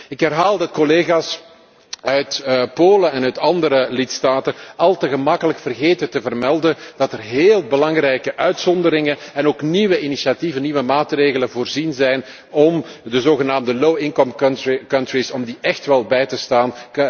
Ik herhaal dat collega's uit Polen en andere lidstaten al te gemakkelijk vergeten te vermelden dat er heel belangrijke uitzonderingen en ook nieuwe initiatieven en maatregelen voorzien zijn om de zogenaamde lage inkomenslanden bij te staan.